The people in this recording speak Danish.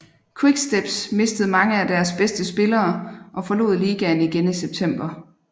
Quicksteps mistede mange af deres bedste spillere og forlod ligaen igen i september